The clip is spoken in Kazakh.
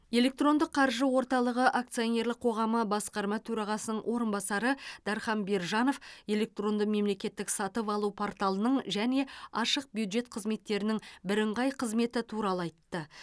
электрондық қаржы орталығы акционерлік қоғамы басқарма төрағасының орынбасары дархан биржанов электронды мемлекеттік сатып алу порталының және ашық бюджет қызметтерінің бірыңғай қызметі туралы айтты